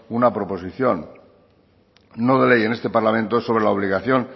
un proposición no de ley en este parlamento sobre la obligación